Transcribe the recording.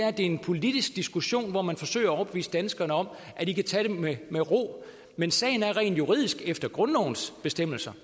at det er en politisk diskussion hvor man forsøger at overbevise danskerne om at de kan tage det med ro men sagen er rent juridisk efter grundlovens bestemmelser